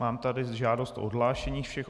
Mám tady žádost o odhlášení všech.